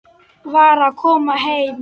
Var að koma heim.